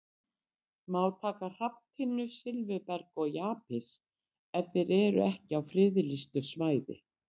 Má taka hrafntinnu, silfurberg og jaspis ef þeir eru ekki á friðlýstu svæði?